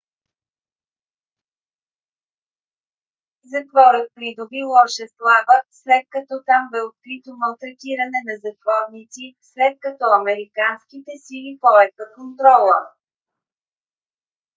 затворът придоби лоша слава след като там бе открито малтретиране на затворници след като американските сили поеха контрола